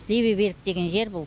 левый берег деген жер бұл